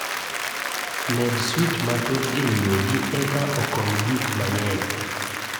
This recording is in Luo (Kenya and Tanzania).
Med swich mathoth ei odi eka okony gik mang'eny